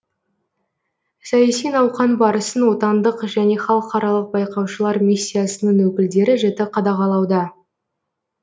саяси науқан барысын отандық және халықаралық байқаушылар миссиясының өкілдері жіті қадағалауда